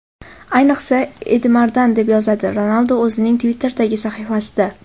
Ayniqsa, Edimardan”, deb yozadi Ronaldu o‘zining Twitter’dagi sahifasida.